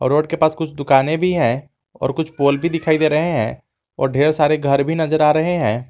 Road के पास कुछ दुकानें भी हैं और कुछ पोल भी दिखाई दे रहे हैं और ढेर सारे घर भी नजर आ रहे हैं।